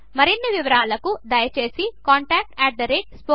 మరిన్ని వివరముల కొరకు దయచేసి contactspoken tutorial